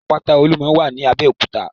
Àpáta Olúmọ wà ní Abẹ́òkúta.